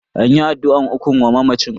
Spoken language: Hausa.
An yi addu'an ukun wa mamacin.